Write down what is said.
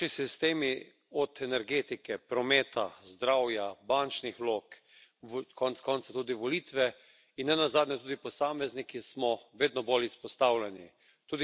Naši sistemi, od energetike, prometa, zdravja, bančnih vlog, konec koncev tudi volitve in nenazadnje tudi posamezniki smo vedno bolj izpostavljeni.